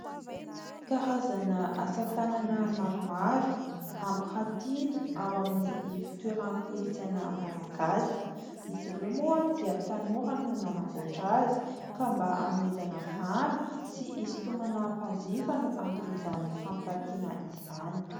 Karazana asa tanana maromaro, ampirantiana ao amin'ny fitoeran-kolotsaina malagasy ; izy ireo moa dia tanora no nanamboatra azy ka mba anomezana vahana sy hisintomana mpanjifa no anton'izany fampirantiana izany.